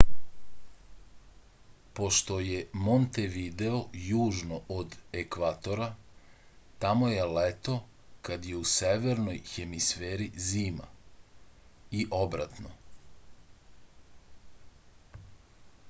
pošto je montevideo južno od ekvatora tamo je leto kad je u severnoj hemisferi zima i obratno